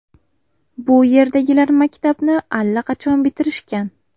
Bu yerdagilar maktabni allaqachon bitirishgan.